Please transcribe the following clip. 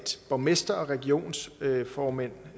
borgmestre og regionsrådsformænd